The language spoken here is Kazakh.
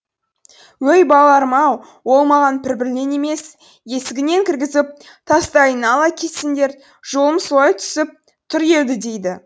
өй балаларым ау ол маған пірблем емес есігінен кіргізіп тастайын ала кетсеңдер жолым солай түсіп тұр еді дейді